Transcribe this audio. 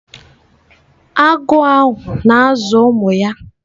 Agụ ahụ na-azụ ụmụ ya.